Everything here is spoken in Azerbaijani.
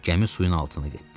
Gəmi suyun altına getdi.